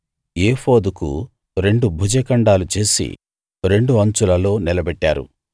ఏఫోదుకు రెండు భుజ ఖండాలు చేసి రెండు అంచులలో నిలబెట్టారు